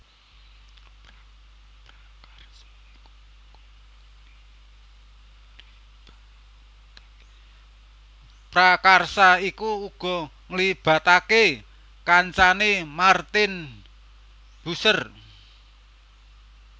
Prakarsa iku uga nglibatake kancane Martin Bucer